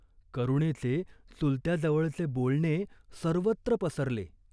करुणेचे चुलत्याजवळचे बोलणे सर्वत्र पसरले.